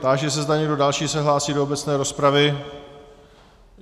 Táži se, zda někdo další se hlásí do obecné rozpravy.